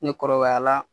Ne kɔrɔbaya la